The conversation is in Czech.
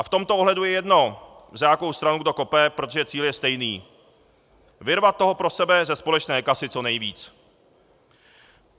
A v tomto ohledu je jedno, za jakou stranu kdo kope, protože cíl je stejný: vyrvat toho pro sebe ze společné kasy co nejvíc.